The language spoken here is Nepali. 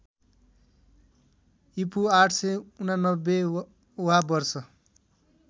ईपू ८८९ वा वर्ष